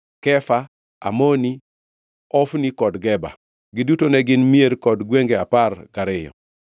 Kefa Amoni, Ofni kod Geba. Giduto ne gin mier kod gwenge apar gariyo.